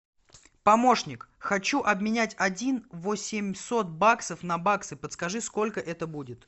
помощник хочу обменять один восемьсот баксов на баксы подскажи сколько это будет